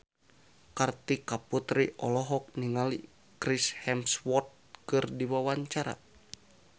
Kartika Putri olohok ningali Chris Hemsworth keur diwawancara